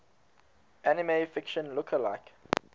anime fiction lookalike